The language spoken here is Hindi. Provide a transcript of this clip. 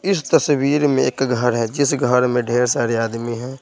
इस तस्वीर में एक घर है जिस घर में ढेर सारे आदमी --